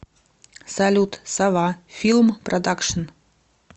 салют сова филм продакшин